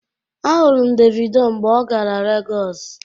Ahụrụ m Davido mgbe ọ gara Legọs.